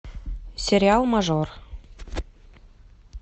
сериал мажор